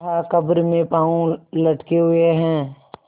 कहाकब्र में पाँव लटके हुए हैं